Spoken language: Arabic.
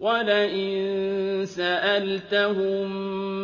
وَلَئِن سَأَلْتَهُم